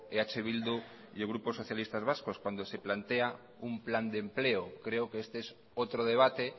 eh bildu y el grupo socialistas vascos cuando se plantea un plan de empleo creo que este es otro debate